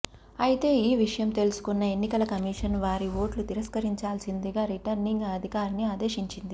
అయితే ఈ విషయం తెలుసుకున్న ఎన్నికల కమిషన్ వారి ఓట్లు తిరస్కరించాల్సిందిగా రిటర్నింగ్ అధికారిని ఆదేశించింది